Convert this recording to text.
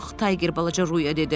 Tayger balaca Ruya dedi.